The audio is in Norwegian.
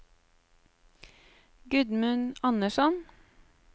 Gudmund Andersson